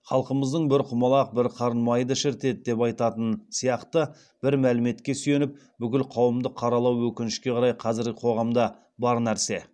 халқымыздың бір құмалақ бір қарын майды шірітеді деп айтатыны сияқты бір мәліметке сүйеніп бүкіл қауымды қаралау өкінішке қарай қазіргі қоғамда бар нәрсе